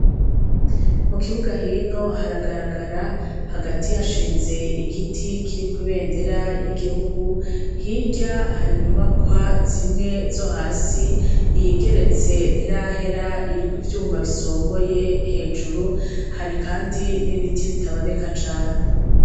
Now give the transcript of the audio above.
Mu kibuga hino haragaragara hagati hashinze igiti kiriko ibendera y'igihugu hirya hari inyubakwa zimwe zo hasi iyigeretse ntirahera iriko ivyuma bisongoye hejuru hari, kandi n'ibiti bitaboneka cane.